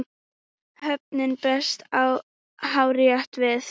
Áhöfnin brást hárrétt við.